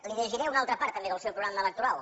li llegiré una altra part també del seu programa electoral